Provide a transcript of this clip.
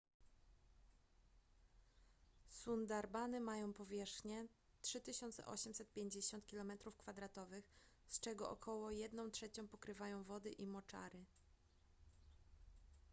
sundarbany mają powierzchnię 3850 km² z czego około jedną trzecią pokrywają wody i moczary